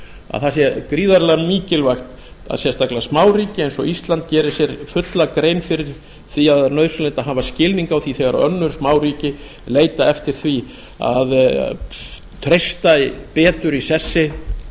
að það sé gríðarlega mikilvægt að sérstaklega smáríki eins og ísland geri sér fulla grein fyrir því að það er nauðsynlegt að hafa skilning á því þegar önnur smáríki leita eftir því að treysta betur í sessi